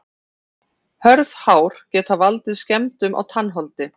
Hörð hár geta valdið skemmdum á tannholdi.